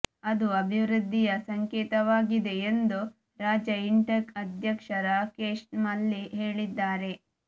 ಅದು ಅಭಿವೃದ್ಧಿಯ ಸಂಕೇತವಾಗಿದೆ ಎಂದು ರಾಜ್ಯ ಇಂಟಕ್ ಅಧ್ಯಕ್ಷ ರಾಕೇಶ್ ಮಲ್ಲಿ ಹೇಳಿದ್ದಾರೆ